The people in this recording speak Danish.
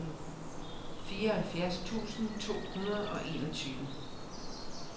fireoghalvfjerds tusind to hundrede og enogtyve